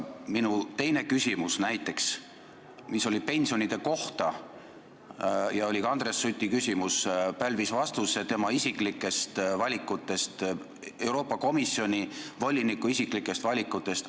Näiteks minu teine küsimus, mis oli pensionide kohta ja mis oli ka Andres Suti küsimus, pälvis vastuse tema isiklikest valikutest ja Euroopa Komisjoni voliniku isiklikest valikutest.